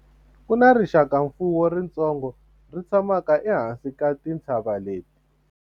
ku na rixakamfuwo ritsongo ri tshamaka ehansi ka tintshava leti